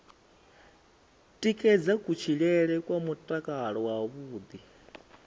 tikedza kutshilele kwa mutakalo wavhuḓi